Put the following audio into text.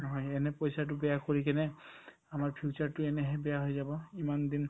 নহয় এনে পইচাতো বেয়া কৰি কিনে আমাৰ future তো এনেহে বেয়া হৈ যাব ইমানদিন